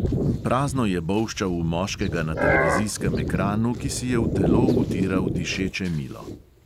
Prazno je bolščal v moškega na televizijskem ekranu, ki si je v telo utiral dišeče milo.